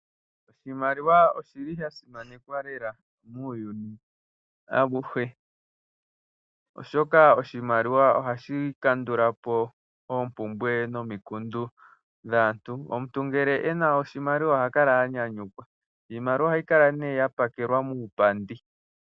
Oshimaliwa oshi li sha simanekwa lela muuyuni auhe, oshoka oshimaliwa oha shi kandula po oompumbwe nomikundu dhaantu. Omuntu ngele e na oshimaliwa oha kala a nyanyukwa. Iimaliwa oha yi kala ne ya pakelwa muupandi.